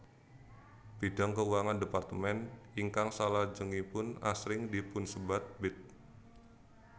Bidang keuangan departemen ingkang salajengipun asring dipunsebat Bid